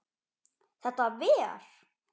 Þetta ver?